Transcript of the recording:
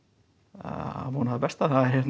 að vona það besta